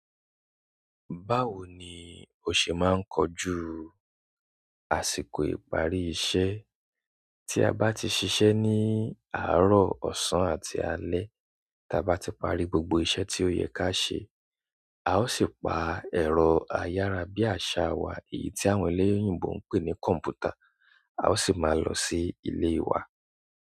Báwo ni ó ṣe máa ń kọjú àsìkò ìparí iṣẹ́ tí a bá ti ṣiṣẹ́ ní àárọ̀, ọ̀sán àti alẹ́? Ta bá ti parí gbogbo iṣẹ́ tí ó yẹ ká ṣe, a ó sì pa ẹ̀rọ ayára bí àṣá wa, èyí tí àwọn eléyìínbò ń pè ní kọ̀m̀pútà, a ó sì máa lọ sí ilé wa.